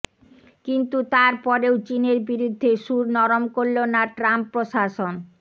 কিন্তু তারপরেও চিনের বিরুদ্ধে সুর নরম করল না ট্রাম্প প্রশাসন